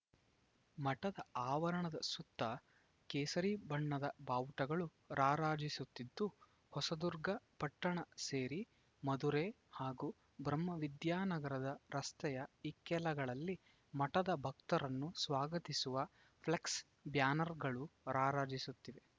ಮಠದ ಆವರಣದ ಸುತ್ತಾ ಕೇಸರಿ ಬಣ್ಣದ ಬಾವುಟಗಳು ರಾರಾಜಿಸುತ್ತಿದ್ದು ಹೊಸದುರ್ಗ ಪಟ್ಟಣ ಸೇರಿ ಮಧುರೆ ಹಾಗೂ ಬ್ರಹ್ಮವಿದ್ಯಾನಗರದ ರಸ್ತೆಯ ಇಕ್ಕೆಲೆಗಳಲ್ಲಿ ಮಠದ ಭಕ್ತರನ್ನು ಸ್ವಾಗತಿಸುವ ಫ್ಲೆಕ್ಸ್‌ ಬ್ಯಾನರ್‌ಗಳು ರಾರಾಜಿಸುತ್ತಿದ್